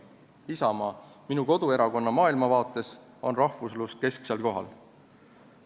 Isamaa, minu koduerakonna maailmavaates on rahvuslus kesksel kohal.